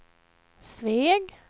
Sveg